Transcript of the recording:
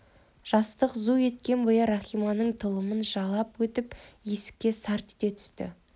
жастық зу еткен бойы рахиманың тұлымын жалап өтіп есікке сарт ете түсті